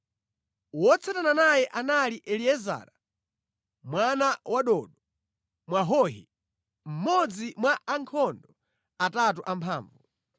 Wotsatana naye anali Eliezara mwana wa Dodo Mwahohi, mmodzi mwa ankhondo atatu amphamvu.